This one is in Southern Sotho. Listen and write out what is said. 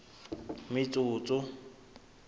metsotso